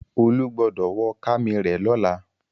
Olú gbọdọ̀ wọ kami rẹ lọ́la.